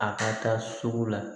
A ka taa sugu la